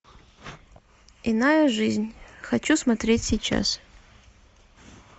иная жизнь хочу смотреть сейчас